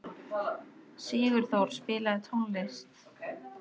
Sigurþór, spilaðu tónlist.